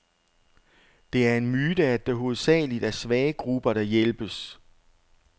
Det er en myte, at det hovedsageligt er svage grupper, der hjælpes.